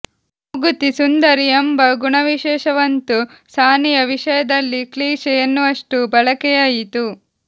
ಮೂಗುತಿ ಸುಂದರಿ ಎಂಬ ಗುಣವಿಶೇಷಣವಂತೂ ಸಾನಿಯಾ ವಿಷಯದಲ್ಲಿ ಕ್ಲೀಷೆ ಎನ್ನುವಷ್ಟು ಬಳಕೆಯಾಯಿತು